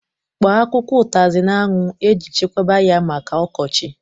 Kpọọ akwụkwọ utazi n'anwu e ji chekwaba ya maka okochi